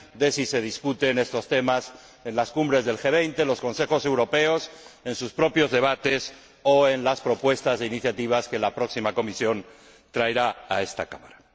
de si se discuten estos temas en las Cumbres del G 20, en los Consejos europeos, en sus propios debates o en las propuestas de iniciativa que la próxima Comisión traerá a esta Cámara.